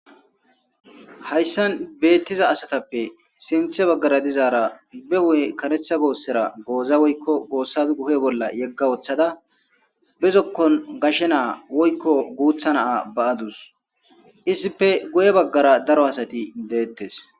Hayssan beettiza asatappe sinthe baggara dizaara be huuphe kareetha goossera gooza woyyko goossa hu7e bolla yegga wothada be zokkon gashe na7a woykko guutha na7a ba7adus. Izippe guye baggara daro asati deettes.